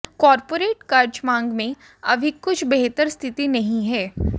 corporate कर्ज मांग में अभी कुछ बेहतर स्थिति नहीं है